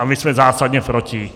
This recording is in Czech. A my jsme zásadně proti.